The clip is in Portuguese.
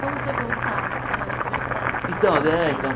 Como foi voltar para a universidade depois dos Então eh então Quarenta?